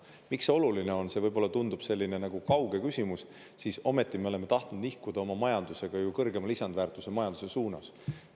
Miks see oluline on, see võib-olla tundub selline nagu kauge küsimus, siis ometi me oleme tahtnud nihkuda oma majandusega kõrgema lisandväärtusega majanduse suunas.